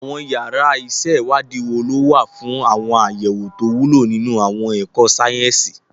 Àwọn yàrá ìṣèwádìí wo ló wà fún àwọn àyẹ̀wò tó wúlò nínú àwọn ẹ̀kọ́ sáyẹ́sì?